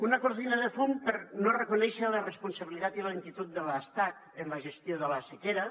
una cortina de fum per no reconèixer la responsabilitat i la lentitud de l’estat en la gestió de la sequera